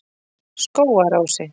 Skógarási